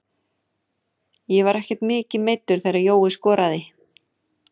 Ég var ekkert mikið meiddur þegar Jói skoraði.